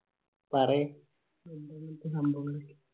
പറീ